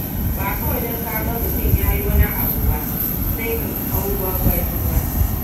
Ba kawai don ka ga mutum ya yi wani abu sai ka hau bambami ba.